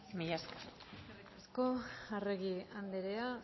milesker eskerrik asko arregi andrea